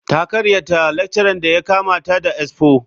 Ta karyata lecturer da ya kama ta da expo.